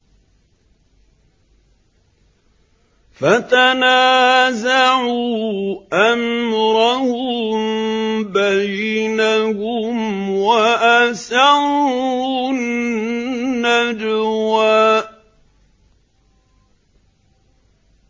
فَتَنَازَعُوا أَمْرَهُم بَيْنَهُمْ وَأَسَرُّوا النَّجْوَىٰ